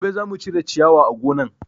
Gobe zamu cire ciyawa a gonan